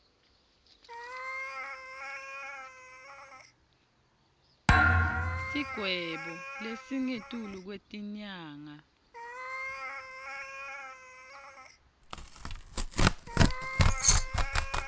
sigwebo lesingetulu kwetinyanga